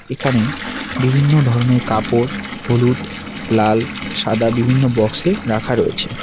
এখানে বিভিন্ন ধরনের কাপড় হলুদ লাল সাদা বিভিন্ন বক্স -এ রাখা রয়েছে।